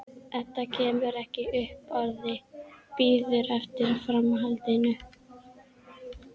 Edda kemur ekki upp orði, bíður eftir framhaldinu.